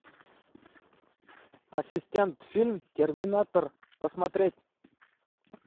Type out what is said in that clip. ассистент фильм терминатор посмотреть